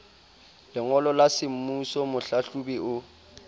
lengolo la semmuso mohlahlobi o